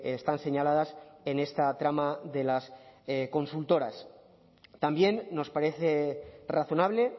están señaladas en esta trama de las consultoras también nos parece razonable